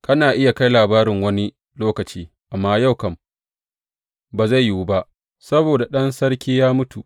Kana iya kai labarin wani lokaci, amma yau kam ba zai yiwu ba, saboda ɗan sarki ya mutu.